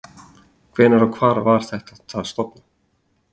Hvenær og hvar var það stofnað?